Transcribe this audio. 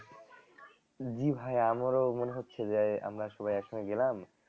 জি ভাইয়া আমারো মনে হচ্ছে যে আমরা সবাই একসঙ্গে গেলাম